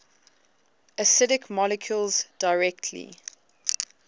acidic molecules directly